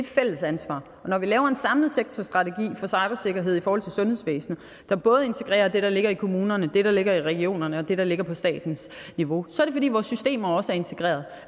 fælles ansvar når vi laver en samlet sektorstrategi for cybersikkerhed i forhold til sundhedsvæsenet der både integrerer det der ligger i kommunerne det der ligger i regionerne og det der ligger på statens niveau så er det fordi vores systemer også er integrerede